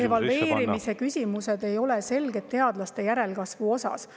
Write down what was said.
Et evalveerimise küsimused ei ole selged teadlaste järelkasvu osas.